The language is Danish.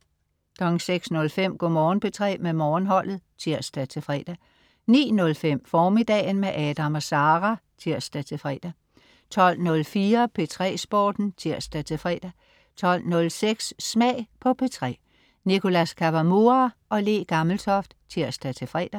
06.05 Go' Morgen P3 med Morgenholdet (tirs-fre) 09.05 Formiddagen med Adam & Sara (tirs-fre) 12.04 P3 Sporten (tirs-fre) 12.06 Smag på P3. Nicholas Kawamura/Le Gammeltoft (tirs-fre)